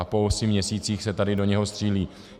A po osmi měsících se tady do něho střílí!